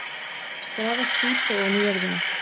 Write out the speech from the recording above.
Grafast dýpra ofan í jörðina.